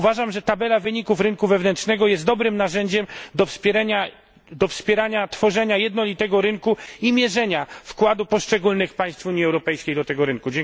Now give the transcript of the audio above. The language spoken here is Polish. Uważam, że tabela wyników rynku wewnętrznego jest dobrym narzędziem do wspierania tworzenia jednolitego rynku oraz mierzenia wkładu poszczególnych państw Unii Europejskiej w ten rynek.